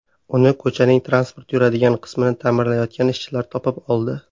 Uni ko‘chaning transport yuradigan qismini ta’mirlayotgan ishchilar topib oldi.